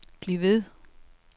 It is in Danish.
bliv ved